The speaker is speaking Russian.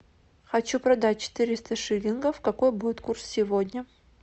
хочу продать четыреста шиллингов какой будет курс сегодня